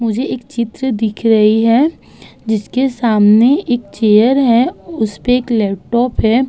मुझे एक चित्र दिख रही है जिसके सामने एक चेयर है। उसपे एक लैपटॉप है।